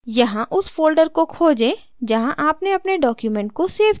यहाँ उस folder को खोजें जहाँ आपने अपने document को सेव किया है